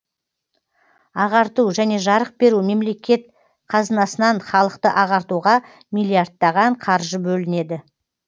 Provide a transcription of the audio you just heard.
ағарту және жарық беру мемлекет қазынасынан халықты ағартуға миллиардтаған қаржы бөлінеді